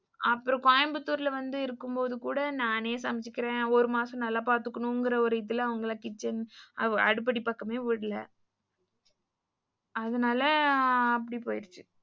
அப்புறம் கோயம்புத்தூர்ல வந்து இருக்கும்போது கூட நானே சமைச்சுக்கிறேன் ஒரு மாசம் நல்லா பாத்துக்கணும்னு ஒரு இதுல அவங்கள kitchen அடுப்படி பக்கமே விடல. அதனால அப்படி போயிருச்சு.